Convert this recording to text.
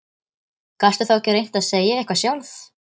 Gastu þá ekki reynt að segja eitthvað sjálf?